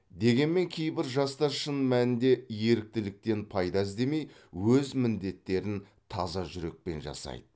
дегенмен кейбір жастар шын мәнінде еріктіліктен пайда іздемей өз міндеттерін таза жүрекпен жасайды